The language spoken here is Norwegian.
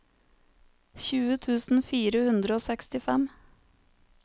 tjue tusen fire hundre og sekstifem